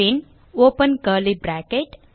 bin open curly bracket